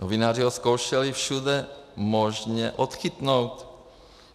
Novináři ho zkoušeli všude možně odchytnout.